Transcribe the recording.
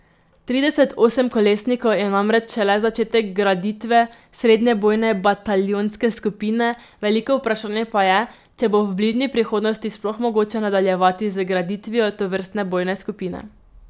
Trideset osemkolesnikov je namreč šele začetek graditve srednje bojne bataljonske skupine, veliko vprašanje pa je, če bo v bližnji prihodnosti sploh mogoče nadaljevati z graditvijo tovrstne bojne skupine.